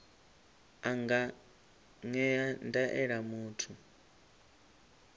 a nga ṅea ndaela muthu